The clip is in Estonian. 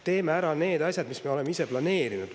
Teeme ära need asjad, mis me oleme ise planeerinud.